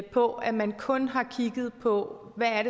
på at man kun har kigget på hvad